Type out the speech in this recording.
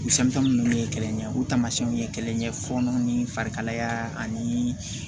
ninnu ye kɛlɛ ɲɛ o taamasiyɛnw ye kelen ye fɔnɔw ni farikalaya ani